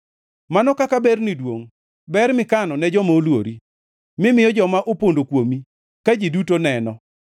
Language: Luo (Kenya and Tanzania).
Mano kaka berni duongʼ, ber mikano ne joma oluori, mimiyo joma opondo kuomi ka ji duto neno.